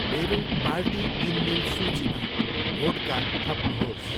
मेरो पार्टी किनमेल सूचीमा भोडका थप्नुहोस्।